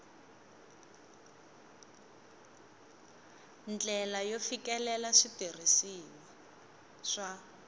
ndlela yo fikelela switirhisiwa swa